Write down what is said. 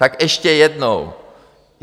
Tak ještě jednou.